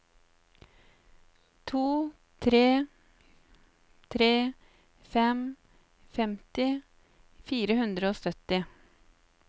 to tre tre fem femti fire hundre og sytti